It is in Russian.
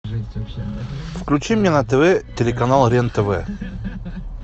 включи мне на тв телеканал рен тв